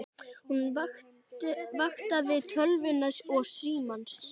Hún vaktaði tölvuna og símann.